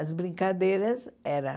As brincadeiras era...